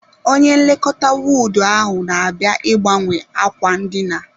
Onye nlekọta wọọdụ ahụ na-abịa ịgbanwe ákwà ndina.